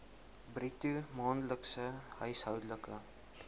bruto maandelikse huishoudelike